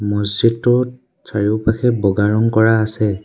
মছজিদটোত চাৰিওপাষে বগা ৰং কৰা আছে।